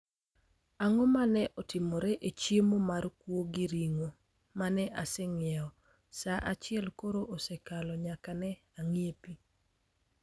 Ang'o ma ne otimore ne chiemo mar kuo gi ring'o mane aseng'iewo? Sa achiel koro osekalo nyaka ne ang'iepi.